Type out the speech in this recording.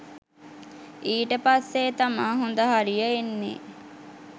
ඊට පස්සේ තමා හොඳ හරිය එන්නේ